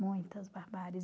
Muitas barbáries.